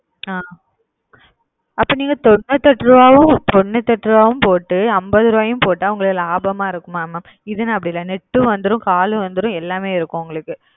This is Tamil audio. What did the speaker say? அது போடுவா அப்போ நீங்க தொன்னுத்தியெட்டுரூபா போட்டு அம்பதுரூபா போட்ட லாபமா இருக்குமா mam இதனை அப்டி இல்ல net வந்துரும் call வந்துரும் எல்லாமே வந்துரும் உங்களுக்கு